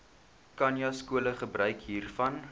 khanyaskole gebruik hiervan